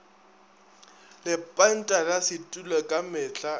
lepanta la setulo ka mehla